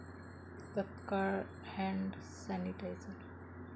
तत्काळ hand sanitiser